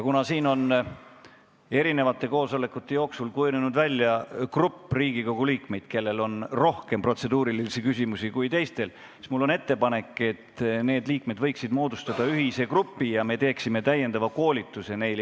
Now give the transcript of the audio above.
Kuna siin on välja kujunenud grupp Riigikogu liikmeid, kellel on rohkem protseduurilisi küsimusi kui teistel, siis mul on ettepanek, et need liikmed võiksid ühineda ja me teeksime neile lisakoolituse.